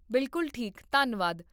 ਬਿਲਕੁਲ ਠੀਕ, ਧੰਨਵਾਦ